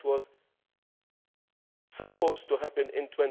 That was supposed to happen